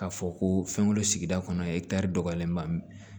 K'a fɔ ko fɛnw don sigida kɔnɔ dɔgɔyalen don a mɛn